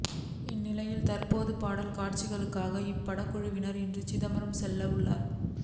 இந்நிலையில் தற்போது பாடல் காட்சிகளுக்காக இப்படக்குழுவினர் இன்று சிதம்பரம் செல்ல உள்ளனர்